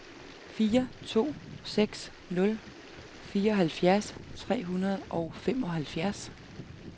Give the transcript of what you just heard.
fire to seks nul fireoghalvfjerds tre hundrede og femoghalvfjerds